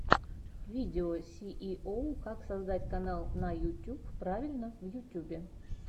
видео сииоу как создать канал на ютьюб правильно в ютьюбе